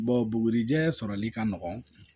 bugurijɛ sɔrɔli ka nɔgɔn